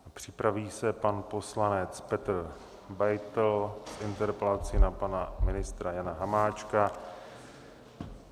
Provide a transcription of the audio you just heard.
Připraví se pan poslanec Petr Beitl s interpelací na pana ministra Jana Hamáčka.